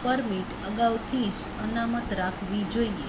permit અગાઉથી જ અનામત રાખવી જોઈએ